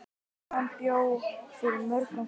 Svan bjó yfir mörgum kostum.